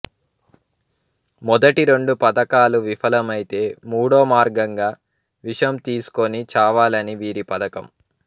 మొదటి రెండు పధకాలు విపలమైతే మూడో మార్గంగా విషం తీసుకుని చావాలని వీరి పథకం